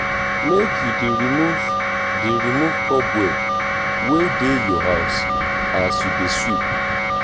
make you dey remove dey remove cobweb wey dey your house as you dey sweep